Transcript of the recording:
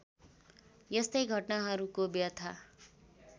यस्तै घटनाहरूको व्यथा